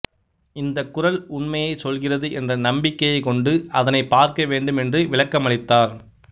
இந்த குரல் உண்மையைச் சொல்கிறது என்ற நம்பிக்கையைக் கொண்டு அதனைப் பார்க்க வேண்டும் என்று விளக்கமளித்தார்